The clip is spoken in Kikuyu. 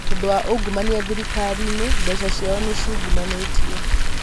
tondũ wa ungumania thirikari-inĩ mbeca ciao nĩ ciũngumanĩtio